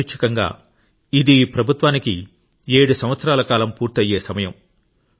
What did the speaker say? యాదృచ్చికంగా ఇది ఈ ప్రభుత్వానికి 7 సంవత్సరాల కాలం పూర్తి అయ్యే సమయం